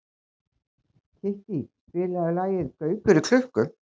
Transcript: Kittý, spilaðu lagið „Gaukur í klukku“.